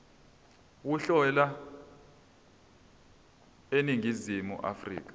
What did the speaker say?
uhlelo eningizimu afrika